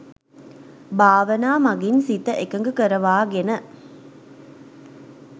භාවනා මගින් සිත එකග කරවා ගෙන